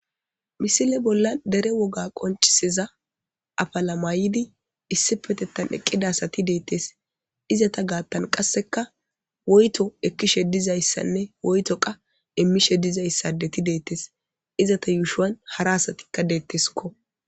Mise bollan dere woga qoncisiza apila mayid issipetetan eqida asat detes. Izeta gatan qasekka woyto ekishe dizaysanne woyto qase imishe dizaysa adeti detes. Izeta yushuwan hara asatika deteskko.